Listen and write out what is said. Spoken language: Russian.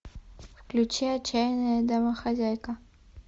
включи отчаянная домохозяйка